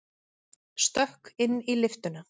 Stökk inn í lyftuna.